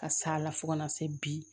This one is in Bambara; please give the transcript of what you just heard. Ka s'a la fo ka na se bi